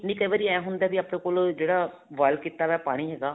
ਨਹੀਂ ਕਈ ਵਾਰੀ ਇਹ ਹੁੰਦਾ ਵੀ ਆਪਣੇ ਕੋਲ ਜਿਹੜਾ boil ਕੀਤਾ ਵਿਆ ਪਾਣੀ ਹੈਗਾ